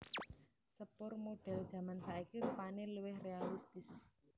Sepur modèl jaman saiki rupané luwih réalistis